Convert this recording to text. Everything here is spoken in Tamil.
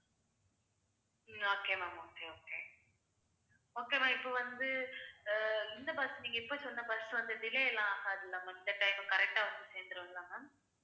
உம் okay ma'am okay, okay okay ma'am இப்போ வந்து அஹ் இந்த bus நீங்க இப்போ சொன்ன bus வந்து delay எல்லாம் ஆகாதில்ல ma'am இந்த time correct ஆ வந்து சேர்ந்துருமில்ல ma'am